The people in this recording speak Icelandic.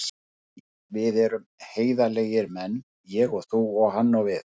Því við erum heiðarlegir menn, ég og þú, segir hann við